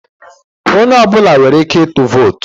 Onye ọ bụla nwere ike ịtụ vootu.